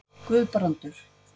Guðbrandur